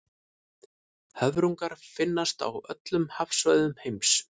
höfrungar finnast á öllum hafsvæðum heims